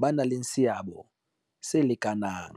ba nang le seabo se lekanang.